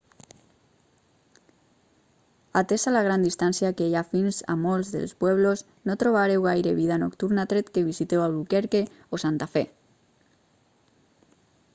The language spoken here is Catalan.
atesa la gran distància que hi ha fins a molts dels pueblos no trobareu gaire vida nocturna tret que visiteu albuquerque o santa fe